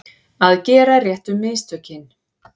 Að gera réttu mistökin